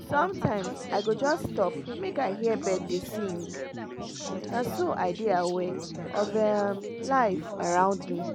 sometimes i go just stop make i hear bird dem dey sing — na so i dey dey aware of um life around me.